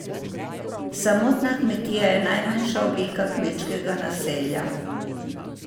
Samotna kmetija je najmanjša oblika kmečkega naselja.